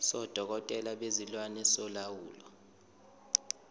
sodokotela bezilwane solawulo